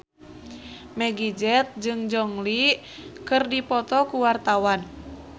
Meggie Z jeung Gong Li keur dipoto ku wartawan